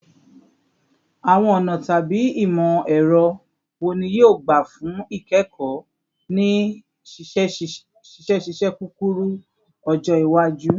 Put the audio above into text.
Awọn ọna tabi imọ-ẹrọ wo ni yoo gba fun ikẹkọ ni ṣiṣiṣẹ kukuru-ọjọ iwaju?